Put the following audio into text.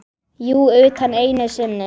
Jú, utan einu sinni.